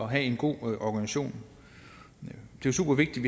have en god organisation det er super vigtigt